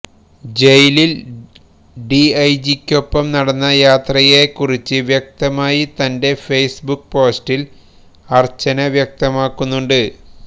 ജയില് ഡിഐജിക്കൊപ്പം നടന്ന യാത്രയേക്കുറിച്ച് വ്യക്തമായി തന്റെ ഫേസ്ബുക്ക് പോസ്റ്റില് അര്ച്ചന വ്യക്തമാക്കുന്നുണ്ട്